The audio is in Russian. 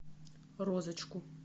розочку